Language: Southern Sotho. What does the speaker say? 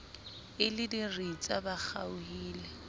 e le diritsa ba kgaohile